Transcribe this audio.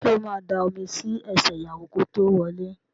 Sọ ma da omi sí ẹsẹ̀ ìyàwó kí ó tó wọlé?